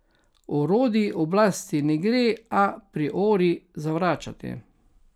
Orodij oblasti ne gre a priori zavračati.